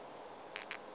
bona e be e le